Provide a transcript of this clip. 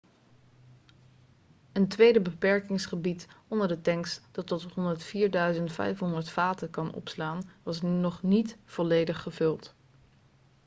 een tweede beperkingsgebied onder de tanks dat tot 104.500 vaten kan opslaan was nog niet volledig gevuld